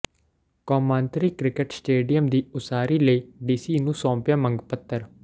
ਕੌਮਾਂਤਰੀ cricket stadium ਦੀ ਉਸਾਰੀ ਲਈ ਡੀਸੀ ਨੂੰ ਸੌਂਪਿਆ ਮੰਗ ਪੱਤਰ